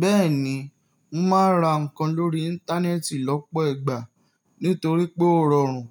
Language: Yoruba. Bẹ́ẹ̀ni, mo máa ń ra nǹkan lórí Íńtánẹ́ẹ̀tì lọ́pọ̀ ìgbà torí pé ó rọrùn